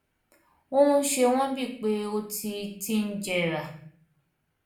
ó ń ṣe wọn bí i pé ó ti ti ń jẹrà